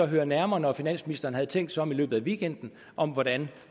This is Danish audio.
høre nærmere når finansministeren havde tænkt sig om i løbet af weekenden om hvordan